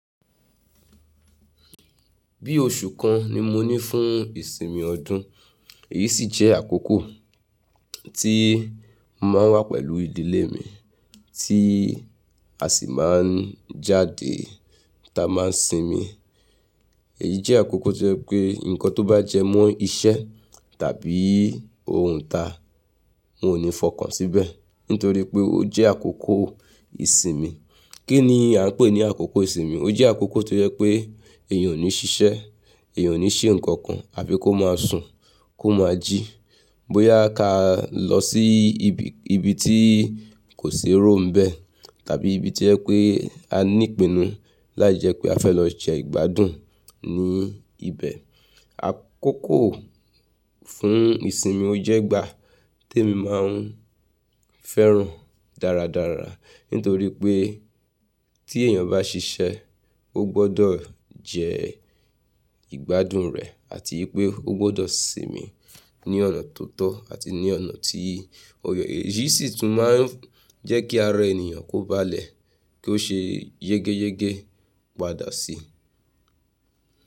Bí oṣù kan ni mo ní fún ìsinmi ọdún, èyí sì jẹ́ àkókò tí mo máa ń wà pẹ̀lú ìdílé mi, tí a sì máa ń jáde táa máa ń sinmi. Èyí jẹ́ àkókò tó jẹ́ pé nǹkan tó bá jẹ mọ́ iṣẹ́ tàbí ohun ta, n ò ní fọkàn síbẹ̀, nítorí pé ó jẹ́ àkókò ìsinmi. Kí ni à ń pè ní àkókò ìsinmi? Ó jẹ́ àkókò tó jẹ́ pé èèyàn ò ní ṣiṣẹ́, èèyàn ò ní ṣe nǹkan kan, àbí kó má a sùn, kó máa jí, bóyá a ka lọ sí ibi, ibi tí kò sí èrò ń bẹ tàbí ibi tí ẹ pé a ní ìpinnu láì jẹ́ pé a fẹ́ lọ jẹ ìgbádùn ní ibẹ̀. Àkókò fún ìsinmi ó jẹ́ ìgbà tí èmi máa ń fẹ́ràn dáradára, nítorí pé tí èèyàn bá ṣiṣẹ́, ó gbọ́dọ̀ jẹ ìgbádùn rẹ̀ àti pé ó gbọ́dọ̀ sinmi ní ọ̀nà tó tọ́ àti ní ọ̀nà tí ó yẹ. Èyí sì tún máa ń jẹ́ kí ara ènìyàn kó baálẹ̀ kí ó ṣe yégéyégé padà síi.